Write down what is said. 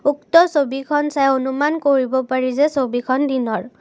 উক্ত ছবিখন চাই অনুমান কৰিব পাৰি যে ছবিখন দিনৰ।